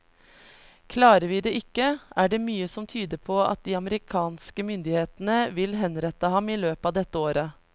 Klarer vi det ikke, er det mye som tyder på at de amerikanske myndighetene vil henrette ham i løpet av dette året.